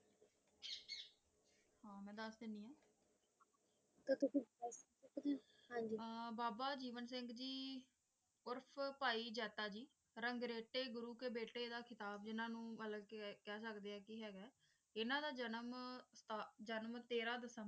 ਹਨ ਜੀ ਆ ਬਾਬਾ ਜੀਵਨ ਸਿੰਘ ਜੀ ਉਰਫ ਪਾਈ ਜਾਤਾ ਜੀ ਰੰਗ ਰਾਇਤੇ ਗੁਰੂ ਦੇ ਜਿਨਾ ਨੂੰ ਕਹਿ ਸਕਦੇ ਕਿ ਹੈਗਾ ਇਨ੍ਹਾਂ ਦਾ ਜਨਮ ਆਮ ਜਨਮ ਟੈਰਾਹ ਦਸੰਬਰ